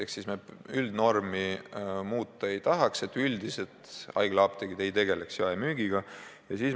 Ehk siis üldnormi, et haiglaapteegid ei tegele jaemüügiga, me muuta ei tahaks.